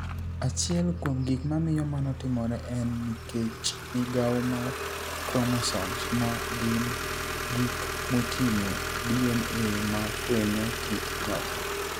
Achiel kuom gik mamiyo mano timore eni niikech migawo mar chromosomes, ma gini gik motinig'o DniA ma fweniyo kit niyathi.